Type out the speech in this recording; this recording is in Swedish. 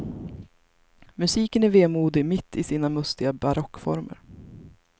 Musiken är vemodig mitt i sina mustiga barockformer.